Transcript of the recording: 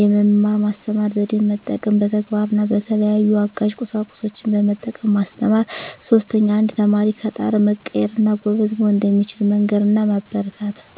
የመማር ማስተማር ዜዴን መጠቀም፣ በተግባር እና በተለያዩ አጋዥ ቁሳቁሶችን በመጠቀም ማስተማር። 3ኛ. አንድ ተማሪ ከጣረ መቀየር እና ጎበዝ መሆን እንደሚችል መንገር እና ማበረታታት።